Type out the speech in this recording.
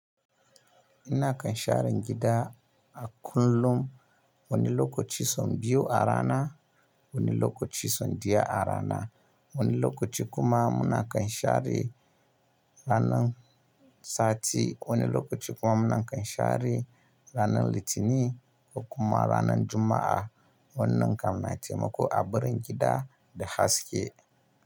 Ina kan shara gida a kullum. Wani lokaci son biyu a rana, wani lokaci son diya a rana, wani lokaci kuma muna kanshare ranan sati, wani lokaci kuma muna kanshare ranan Litinin kuma ranan Juma'a. Wannan kam na taimako a ɓarin gida da haske.